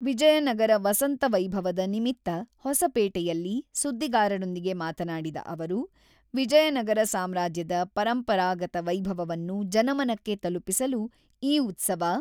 ವಿಜಯನಗರ ವಸಂತ ವೈಭವದ ನಿಮಿತ್ತ ಹೊಸಪೇಟೆಯಲ್ಲಿ ಸುದ್ದಿಗಾರರೊಂದಿಗೆ ಮಾತನಾಡಿದ ಅವರು, ವಿಜಯನಗರ ಸಾಮ್ರಾಜ್ಯದ ಪರಂಪರಾಗತ ವೈಭವವನ್ನು ಜನಮನಕ್ಕೆ ತಲುಪಿಸಲು ಈ ಉತ್ಸವ